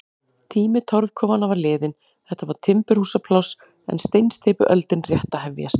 Tími torfkofanna var liðinn, þetta var timburhúsapláss en steinsteypuöldin rétt að hefjast.